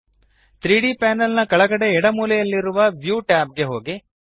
3ದ್ ಪ್ಯಾನೆಲ್ ನ ಕೆಳಗಡೆಯ ಎಡ ಮೂಲೆಯಲ್ಲಿ ಇರುವ ವ್ಯೂ ಟ್ಯಾಬ್ ಗೆ ಹೋಗಿ